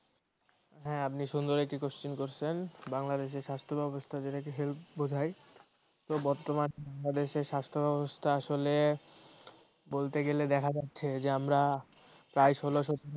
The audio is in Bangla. হ্যাঁ আপনি সুন্দর একটি question করছেন বাংলাদেশী স্বাস্থ্য ব্যবস্থা যেটা কি health বোঝায় তো বর্তমানে বাংলাদেশে স্বাস্থ্য ব্যবস্থা আসলে বলতে গেলে দেখা যাচ্ছে যে আমরা প্রায় ষোল সতেরো